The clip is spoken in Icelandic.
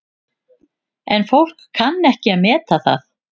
En fólk kann ekki að meta það.